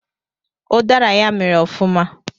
Ụdara ya mịrị ọfụma